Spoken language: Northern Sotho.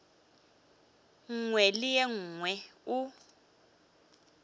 nngwe le ye nngwe o